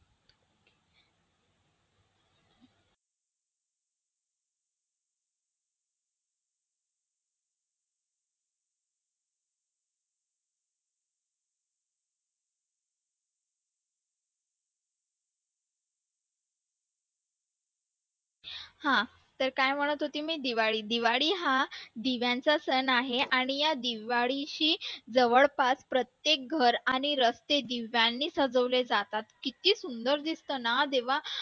हा तर काय म्हणत होते मी दिवाळी दिवाळी हा दिव्यांचा सण आहे आणि या दिवाळीची जवळपास प्रत्येक घर आणि रस्ते दिव्यांनी सजवले जातात किती सुंदर दिसते ना जेव्हा